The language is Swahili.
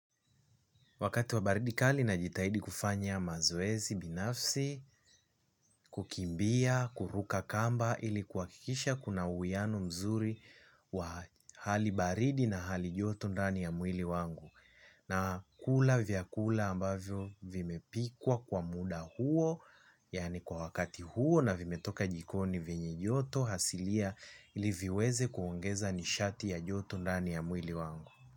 Wakati wa baridi kali najitahidi kufanya mazoezi binafsi, kukimbia, kuruka kamba ili kuhakikisha kuna uwiano mzuri wa hali baridi na hali joto ndani ya mwili wangu. Nakula vyakula ambavyo vimepikwa kwa muda huo, yaani kwa wakati huo na vimetoka jikoni, vyenye joto asilia ili viweze kuongeza nishati ya joto ndani ya mwili wangu.